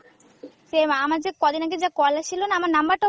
same আমার যে কদিন আগে যা call আসছিলনা, আমার number টাও